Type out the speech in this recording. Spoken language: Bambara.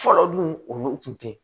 Fɔlɔ dun o kun tɛ